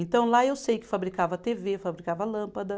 Então, lá eu sei que fabricava tê vê, fabricava lâmpada.